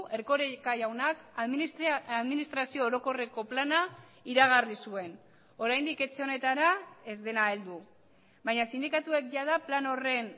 erkoreka jaunak administrazio orokorreko plana iragarri zuen oraindik etxe honetara ez dena heldu baina sindikatuek jada plan horren